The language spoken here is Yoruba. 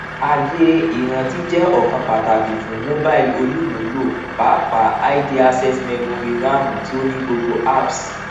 ààyè ìrántí jẹ ọkan pàtàkì fún mobile olùmúlò pàápàá id access memory ramu ti ó ní gbogbo apps